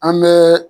An bɛɛ